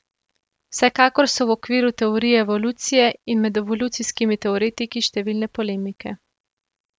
Vsekakor so v okviru teorije evolucije in med evolucijskimi teoretiki številne polemike.